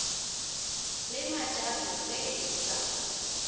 le matšato ge e sa